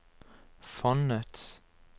fondets